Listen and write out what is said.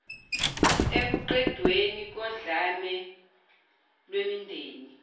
ekuqedweni kodlame lwemindeni